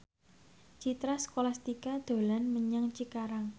Citra Scholastika dolan menyang Cikarang